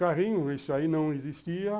Carrinho, isso aí não existia.